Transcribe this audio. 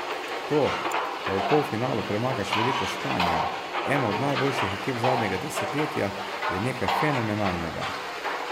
To, da v polfinalu premagaš veliko Španijo, eno od najboljših ekip zadnjega desetletja, je nekaj fenomenalnega.